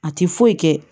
A ti foyi kɛ